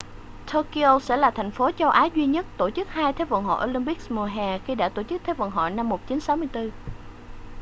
tokyo sẽ là thành phố châu á duy nhất tổ chức hai thế vận hội olympics mùa hè khi đã tổ chức thế vận hội năm 1964